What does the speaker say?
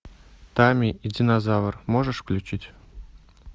тамми и динозавр можешь включить